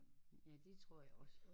Ja det tror jeg også